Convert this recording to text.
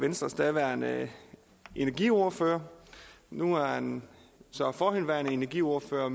venstres daværende energiordfører nu er han så forhenværende energiordfører og